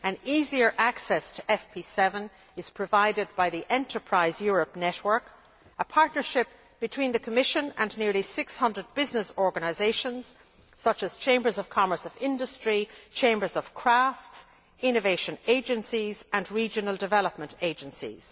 Easier access to FP7 is provided by the Enterprise Europe network, a partnership between the Commission and nearly 600 business organisations such as chambers of commerce of industry, chambers of crafts, innovation agencies and regional development agencies.